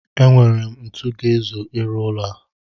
E nwere m ntu ga-ezu ịrụ ụlọ a.